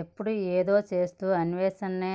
ఎప్పుడూ ఏదో చేస్తూ అన్వే షణే